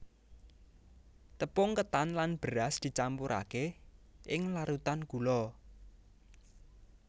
Tepung ketan lan beras dicampurake ing larutan gula